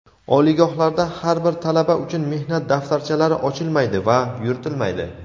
oliygohlarda har bir talaba uchun mehnat daftarchalari ochilmaydi va yuritilmaydi.